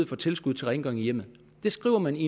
for tilskud til rengøring i hjemmet det skriver man i